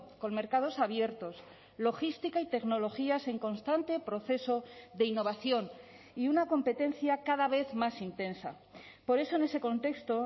con mercados abiertos logística y tecnologías en constante proceso de innovación y una competencia cada vez más intensa por eso en ese contexto